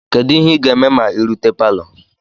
Kedu ihe ị ga-eme ma ị rute palo?